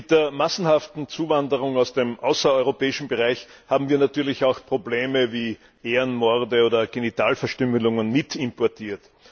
Mit der massenhaften Zuwanderung aus dem außereuropäischen Bereich haben wir natürlich auch Probleme wie Ehrenmorde oder Genitalverstümmelung mit importiert.